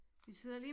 Vi sidder lige